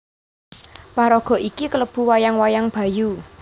Paraga iki klebu wayang wayang Bayu